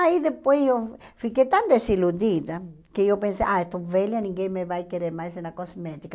Aí depois eu fiquei tão desiludida que eu pensei, ah, estou velha, ninguém me vai querer mais na cosmética.